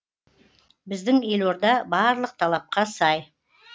біздің елорда барлық талапқа сай